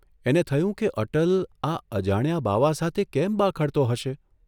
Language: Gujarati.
એને થયું કે અટલ આ અજાણ્યા બાવા સાથે કેમ બાખડતો હશે?